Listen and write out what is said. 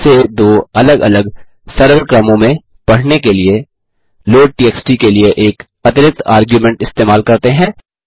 इसे दो अलग अलग सरल क्रमों में पढ़ने के लिए लोड टीएक्सटी के लिए एक अतिरिक्त आर्ग्युमेंट इस्तेमाल करते हैं